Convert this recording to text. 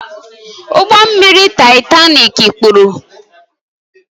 Ụgbọ mmiri Taịtani mikpuru